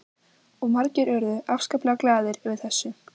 Og margir urðu afskaplega glaðir yfir þessu.